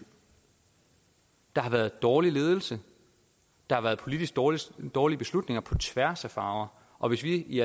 der har været dårlig ledelse der har været politisk politisk dårlige beslutninger på tværs af farver og hvis vi i